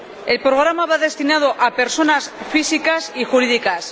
El programa va destinado a personas físicas y jurídicas.